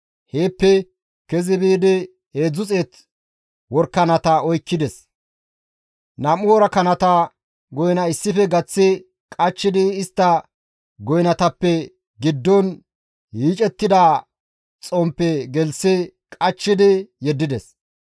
Heeppe kezi biidi 300 worakanata oykkides; 2 worakanata goyna issife gaththi qachchidi istta goynatappe giddon yiicettida xomppe gelththi qachchidi yeddides.